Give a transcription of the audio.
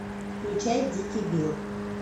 включай дикий билл